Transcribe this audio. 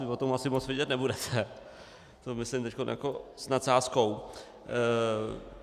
Vy o tom asi moc vědět nebudete, to myslím teď jako s nadsázkou.